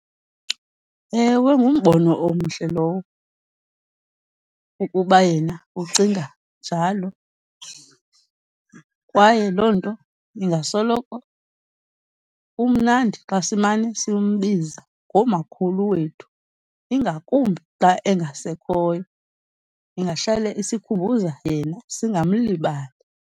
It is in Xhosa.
Ewe, ngumbono omhle lowo ukuba yena ucinga njalo kwaye loo nto ingasoloko kumnandi xa simane simbiza ngomakhulu wethu ingakumbi xa engasekhoyo, ingahlale isikhumbuza yena singamlibali.